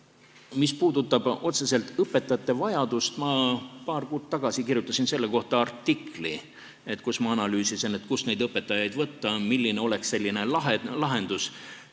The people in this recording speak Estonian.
Mis puudutab otseselt õpetajate vajadust, siis ma paar kuud tagasi kirjutasin selle kohta artikli, kus ma analüüsisin, kust neid õpetajaid võtta, milline oleks lahendus.